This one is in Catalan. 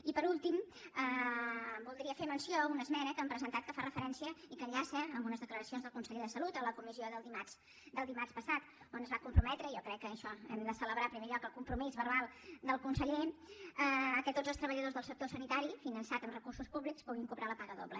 i per últim voldria fer menció d’una esmena que hem presentat que fa referència i que enllaça amb unes declaracions del conseller de salut a la comissió del dimarts del dimarts passat on es va comprometre i jo crec que en això hem de celebrar en primer lloc el compromís verbal del conseller que tots els treballadors del sector sanitari finançat amb recursos públics puguin cobrar la paga doble